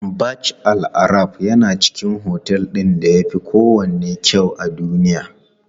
Burj Al Arab yana cikin otel ɗin da yafi kowanne kyau a duniya.